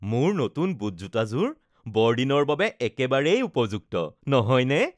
মোৰ নতুন বুটজোটাযোৰ বৰদিনৰ বাবে একেবাৰেই উপযুক্ত, নহয়নে?